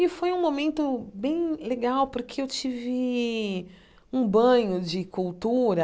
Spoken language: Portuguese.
E foi um momento bem legal, porque eu tive um banho de cultura.